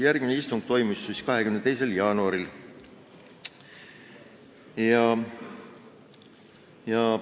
Järgmine istung toimus 22. jaanuaril.